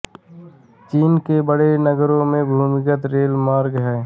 चीन के बड़े नगरों में भूमिगत रेलमार्ग हैं